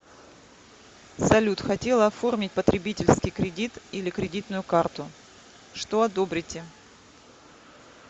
салют хотела оформить потребительский кредит или кредитную карту что одобрите